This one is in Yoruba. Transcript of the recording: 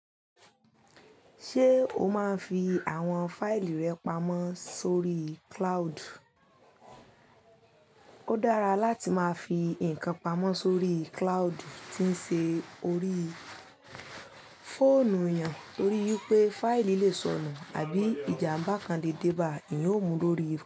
Ṣé o máa ń fi àwọn fáìlì rẹ pamọ́ sórí cloud? Ó dára láti máa fi nǹkan pamọ́ sórí cloudu tí ń ṣe orí fóònù yàn torí pé fáìlì lè sọnù àbí ìjàmbá kan le déba, eeyan o mu lórí.